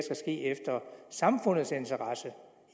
ske efter samfundets interesse